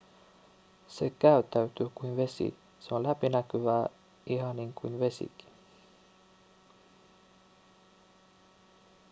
se käyttäytyy kuin vesi se on läpinäkyvää ihan niin kuin vesikin